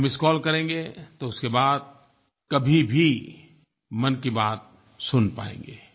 आप missed call करेंगे तो उसके बाद कभी भी मन की बात सुन पाएँगे